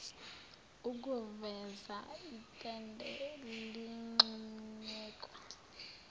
okuveza itende eligxunyekwe